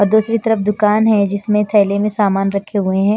और दूसरी तरफ दुकान है जिसमें थैले में सामान रखे हुए हैं।